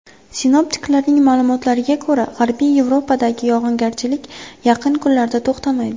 Sinoptiklarning ma’lumotlariga ko‘ra, G‘arbiy Yevropadagi yog‘ingarchiliklar yaqin kunlarda to‘xtamaydi.